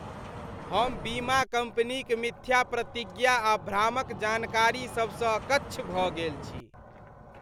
हम बीमा कंपनीक मिथ्या प्रतिज्ञा आ भ्रामक जानकारी सभसँ अकच्छ भऽ गेल छी।